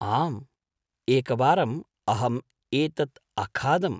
आम्, एकवारम् अहम् एतत् अखादम्।